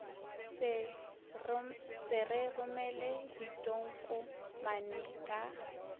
se re romele ditokomane ka